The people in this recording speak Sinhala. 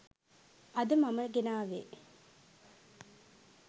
අද මම ගෙනාවේ